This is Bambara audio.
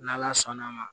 N' ala sɔnn'a ma